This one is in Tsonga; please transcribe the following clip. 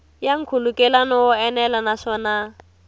ya nkhulukelano wo enela naswona